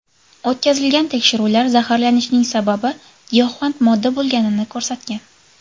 O‘tkazilgan tekshiruvlar zaharlanishning sababi giyohvand modda bo‘lganini ko‘rsatgan.